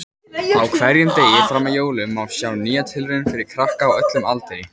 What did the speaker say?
Á hverjum degi fram að jólum má sjá nýja tilraun fyrir krakka á öllum aldri.